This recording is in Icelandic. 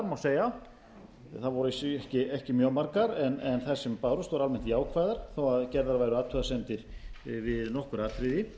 má segja þær voru að vísu ekki mjög margar en þær sem bárust voru almennt jákvæðar þó gerðar væru athugasemdir við nokkur atriði